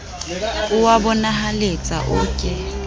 o a bonahaletsa o ke